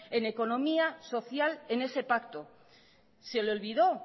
en economía social en ese pacto se le olvidó